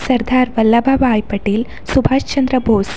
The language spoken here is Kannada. ಸರ್‌ಧಾರ್‌ವಲ್ಲಭ ಬಾಯ್‌ ಪಟೇಲ್‌ ಸುಭಾಶ್‌ ಚಂದ್ರ ಬೋಸ್ --